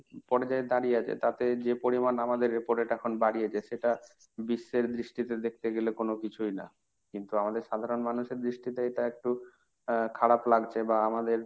পর্যায়ে দাঁড়িয়ে আছে, তাতে যে পরিমাণ আমাদের repo rate এখন বাড়িয়েছে সেটা বিশ্বের দৃষ্টিতে দেখতে গেলে কোন কিছুই না। কিন্তু আমাদের সাধারণ মানুষের দৃষ্টিতে এটা একটু আহ খারাপ লাগছে বা আমাদের